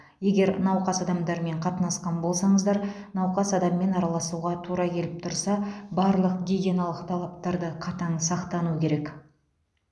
егер науқас адамдармен қатынасқан болсаңыздар науқас адаммен араласуға тура келіп тұрса барлық гигиеналық талаптарды қатаң сақтану керек